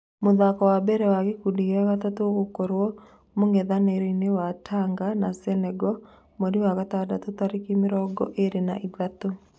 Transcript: Mĩthako wa mbere wa gĩkundi gĩa gatatũ ũgũkorwo mũngethanĩro wa Tanga na Senego mweri wa gatandatũ tarĩki mĩrongo ĩrĩ na ithatũ.